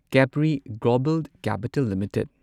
Capri global capital limited